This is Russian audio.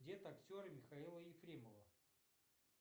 дед актера михаила ефремова